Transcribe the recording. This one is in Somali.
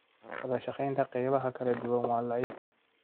Wadashaqeynta qaybaha kala duwan waa daciif.